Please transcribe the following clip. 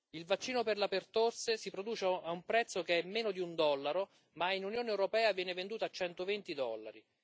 il vaccino per la pertosse si produce a un prezzo che è meno di un dollaro, ma nell'Unione europea viene venduto a 120 dollari